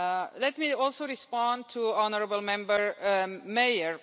Let me also respond to honourable Member Mayer.